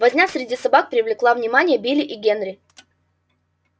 возня среди собак привлекла внимание билла и генри